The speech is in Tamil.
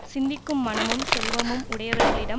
சிந்திக்கும் மனமும் செல்வமும் உடையவர்களிடம்